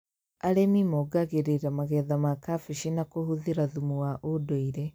Arĩmi mongagĩrĩra magetha ma kambĩji na kũhũthĩra thumu wa ũndũire